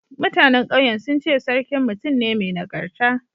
Mutanen ƙauyen sun ce sarkin mutum ne mai nagarta.